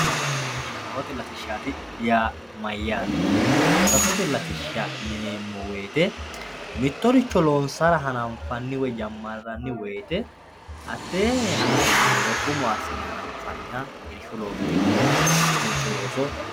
Saffote latisha saffote latishati yineemo woyite mitoricho hananfani woyite hatee hanafo mereero umo ikine hananfaniha irshu looso iko woleno